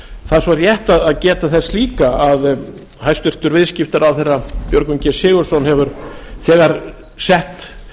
það er svo rétt að geta þess líka að hæstvirtur viðskiptaráðherra björgvin g sigurðsson hefur þegar sett